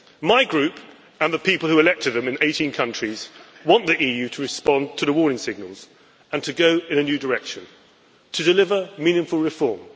My group, and the people who elected them in 18 countries, want the EU to respond to the warning signals, to go in a new direction and to deliver meaningful reform.